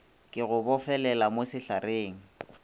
ke go bofelele mo sehlareng